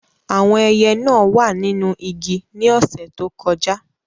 Àwọn ẹyẹ náà wà nínú igi ní ọ̀sẹ̀ tó kọjá.